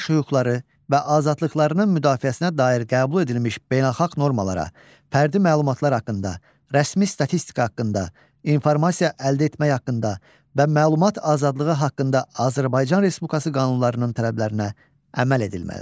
şüurları və azadlıqlarının müdafiəsinə dair qəbul edilmiş beynəlxalq normalara, fərdi məlumatlar haqqında, rəsmi statistika haqqında, informasiya əldə etmək haqqında və məlumat azadlığı haqqında Azərbaycan Respublikası qanunlarının tələblərinə əməl edilməlidir.